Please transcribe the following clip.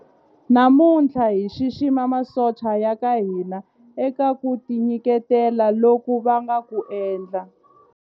Namuntlha hi xixima masocha ya ka hina eka ku tinyiketela loku va nga ku endla.